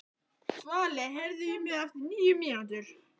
Svali, heyrðu í mér eftir níu mínútur.